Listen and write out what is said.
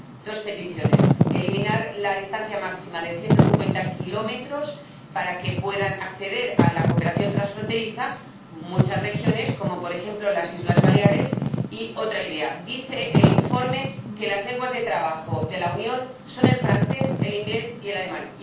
3. Dos peticiones eliminar la distancia máxima de 150 kilómetros para que puedan acceder a la cooperación transfronteriza muchas regiones, como, por ejemplo, las Islas Baleares, y, otra idea dice el informe que las lenguas de trabajo de la Unión son el francés, el inglés y el alemán.